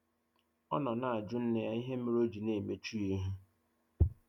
Ọ nọ na-ajụ nne ya ịhe mere ọ jị na-emechụ ya ihụ.